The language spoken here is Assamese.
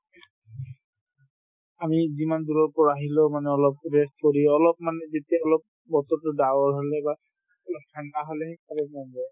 আমি যিমান দূৰৰ পৰা আহিলেও মানে অলপ rest কৰি অলপমান যেতিয়াই অলপ বতৰতো ডাৱৰ হলে বা অলপ ঠাণ্ডা হলেহে খাব মন যায়